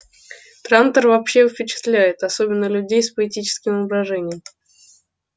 трантор вообще впечатляет особенно людей с поэтическим воображением